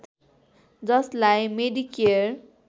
जसलाई मेडिकेयर